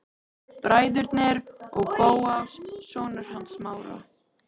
Bræðurnir og Bóas, sonur hans Smára.